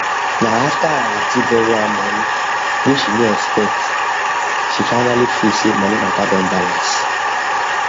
na after her aunty borrow her money whey she no expect she finally feel say money matter don balance